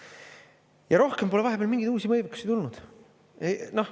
Ja rohkem pole vahepeal mingeid uusi võimekusi tulnud.